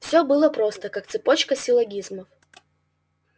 всё было просто как цепочка силлогизмов